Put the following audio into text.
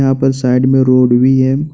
यहां पर साइड में रोड भी है।